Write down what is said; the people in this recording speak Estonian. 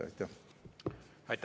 Aitäh!